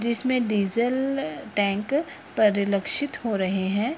जिसमें diesel tank परिलक्षित हो रहे हैं।